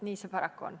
Nii see paraku on.